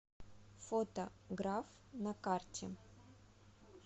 фото граф на карте